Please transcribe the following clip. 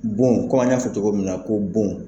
Bon kɔmi an y'a fɔ cogo min na ko bon.